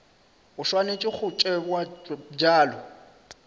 e swanetše go tšewa bjalo